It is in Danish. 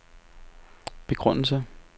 begrundelse